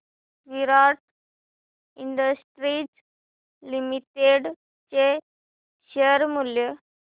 विराट industries limited चे share मूल्य